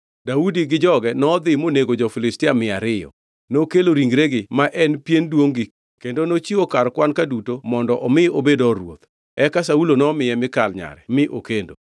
Daudi gi joge nodhi monego jo-Filistia mia ariyo. Nokelo ringregi (ma en pien duongʼ-gi) kendo nochiwo kar kwan-ka duto mondo omi obed or ruoth. Eka Saulo nomiye Mikal nyare mi okendo.